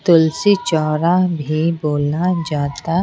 तुलसी चौरा भी बोला जाता--